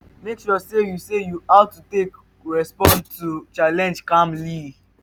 mek sure sey yu sey yu how to take respond to challenge calmly.